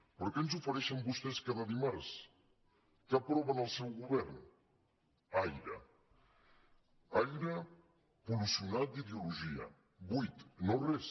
però què ens ofereixen vostès cada dimarts què aproven al seu govern aire aire pol·luït d’ideologia buit no res